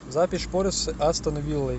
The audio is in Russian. запись шпоры с астон виллой